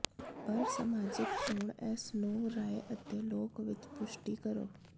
ਪਰ ਸਮਾਜਿਕ ਚੋਣ ਇਸ ਨੂੰ ਰਾਏ ਅਤੇ ਲੋਕ ਵਿੱਚ ਪੁਸ਼ਟੀ ਕਰੋ